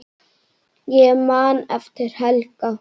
Ég man eftir Helga.